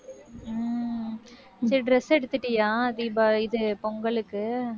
ஹம் இந்த dress எடுத்துட்டியா? தீபாவளி இது பொங்கலுக்கு.